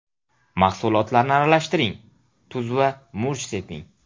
Mahsulotlarni aralashtiring, tuz va murch seping.